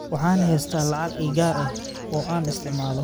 Waxaan haystaa lacag ii gaar ah oo aan isticmaalo